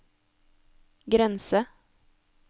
grense